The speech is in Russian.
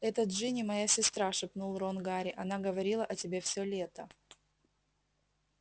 это джинни моя сестра шепнул рон гарри она говорила о тебе все лето